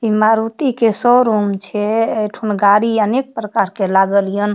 इ मारुती के शोरूम छै एठमें गाड़ी अनेक प्रकार के लागल हियन।